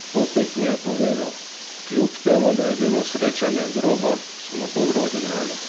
Po tekmi je povedal: "Kljub temu da je bilo srečanje grobo, smo dobro odigrali.